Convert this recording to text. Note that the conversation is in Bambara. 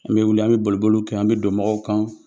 An bɛ wili, an bɛ boliboliw kɛ, an bɛ don mɔgɔw kan.